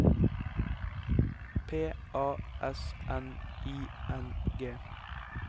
P A S N I N G